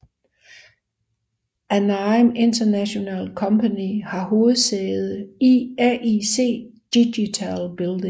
Anime International Company har hovedsæde i AIC Digital Building